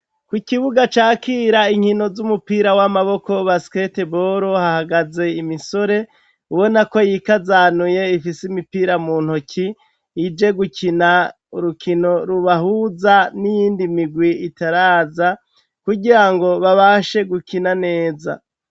ku kibuga cakira inkino z'umupira w'amaboko ba skte bolo hahagaze imisore ubona ko yikazanuye ifise imipira mu ntoki ije gukina urukino rubahuza n'iyindi migwi itaraza kugira ngo babashe gukina neza